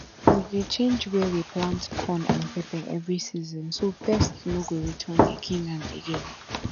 we dey change where we plant corn and pepper every season so pests no go return again and again